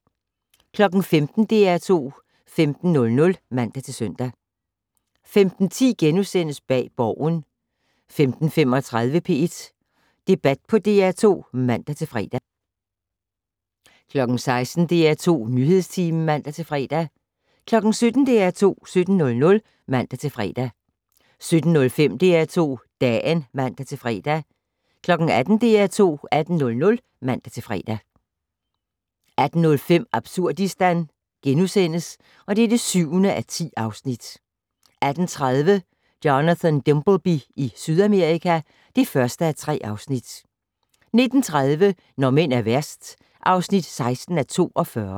15:00: DR2 15:00 (man-søn) 15:10: Bag Borgen * 15:35: P1 Debat på DR2 (man-fre) 16:00: DR2 Nyhedstimen (man-fre) 17:00: DR2 17:00 (man-fre) 17:05: DR2 Dagen (man-fre) 18:00: DR2 18:00 (man-fre) 18:05: Absurdistan (7:10)* 18:30: Jonathan Dimbleby i Sydamerika (1:3) 19:30: Når mænd er værst (16:42)